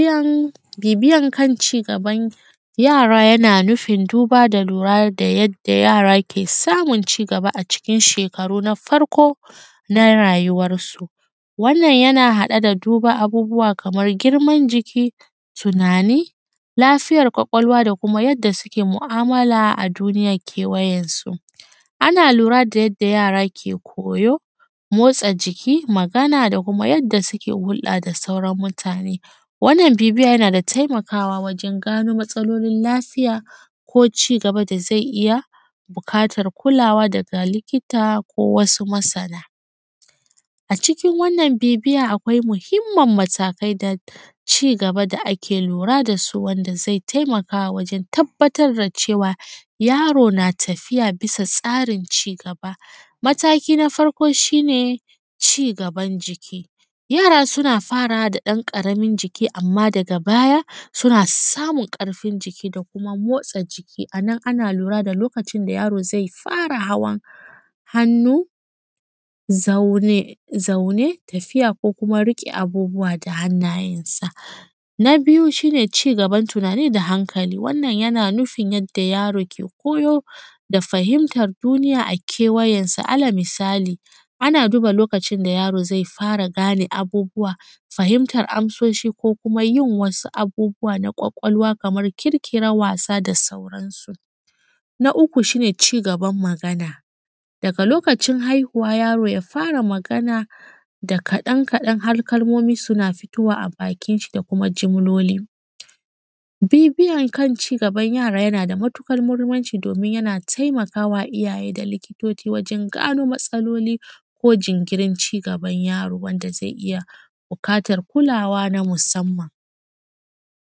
Bibiyan kan cigaban yara yana nufin buda da lura da yadda yara ke samun cigaba a cikin shekaru na farko na rayuwansu. Wannan yana haɗe da duba abubuwa Kaman giman jiki, yunani, lafiyar kwakwalwa da kuma yadda suke mu’amala a duniyan kewayensu. Ana lura da yadda yara ke koyo, motsa jiki, Magana da kuma yadda suke hurɗa da sauran mutane, wannan bibiya yanada taimakawa wajen ƙaro matsalolin lafiya ko cigaba da zai iyya buƙatar kulawa daga likita ko wasu masana. A cikin wannan bibiya akwai mahimmin matakai da cigaba da ake kulawa dasu wanda zai taimaka wajen tabbatar da cewa yaro na tafiya bisa tsarin cigaba. Mataki na farko shine cigaban jiki yara suna farawa da ɗan ƙaramin jiki amma daga baya suna samun ƙarfin jiki da kuma motsa jiki anan ana lura da lokacin da yaro zai fara hawan hannu, zama, tafiya ko kuma abubuwa da hannayensa. Na biyu shine cigaban tunani da hankali wannan yana nufun yanda yaro ke koyo da fahimtar duniya a kewayensu. Alal misali ana duba lokacin da yaro zai fara gane abubuwa fahimtar amsoshi ko kuma yin wasu abubuwa da kwakwalwa Kaman ƙirƙiran wasa da sauran su. Na uku shine cigaban Magana daga lokacin haihuwa yaron ya fara Magana da kaɗan kaɗan har kalmomi suna fitowa a bakinshi da kuma jimloli. Bibiyan cigaban yara yanada matuƙar mahimmanci domin yana taimakawa iyyaye da likitoci wajen gano matsalaloli ko jinkirin cigaban yaro wanda zai iyya bukatan kulawa na kulawa na musamman.